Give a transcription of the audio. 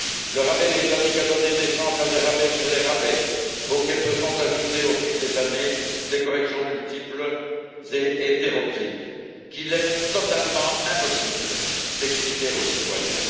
Le rabais britannique a donné naissance à des rabais sur les rabais, auxquels se sont ajoutées, au fil des années, des corrections multiples et hétéroclites, qu'il est totalement impossible d'expliquer aux citoyens.